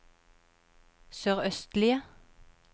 sørøstlige